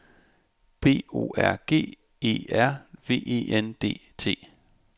B O R G E R V E N D T